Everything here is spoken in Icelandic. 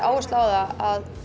áherslur á það að